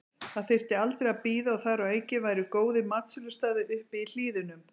Það þyrfti aldrei að bíða og þar að auki væru góðir matsölustaðir uppi í hlíðunum.